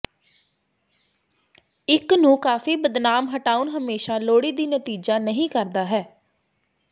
ਇੱਕ ਨੂੰ ਕਾਫੀ ਬਦਨਾਮ ਹਟਾਉਣ ਹਮੇਸ਼ਾ ਲੋੜੀਦੀ ਨਤੀਜਾ ਨਹੀ ਕਰਦਾ ਹੈ